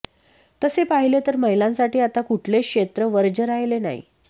तसे पाहिले तर महिलांसाठी आता कुठलेच क्षेत्र वर्ज्य राहिले नाही